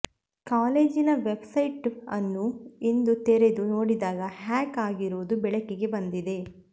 ಕಾಲೇಜಿನ ವೆಬ್ಸೈಟ್ ಅನ್ನು ಇಂದು ತೆರೆದು ನೋಡಿದಾಗ ಹ್ಯಾಕ್ ಆಗಿರುವುದು ಬೆಳಕಿಗೆ ಬಂದಿದೆ